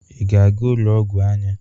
ị ga-aga ụlọ ọgwụ anya?